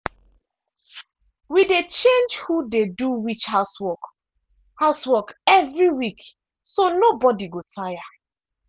we dey change who dey do which housework housework evri week so nobody go dey tire.